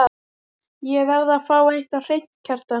Ég verð að fá eitt á hreint, Kjartan.